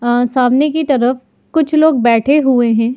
सामने की तरफ कुछ लोग बैठे हुए हैं।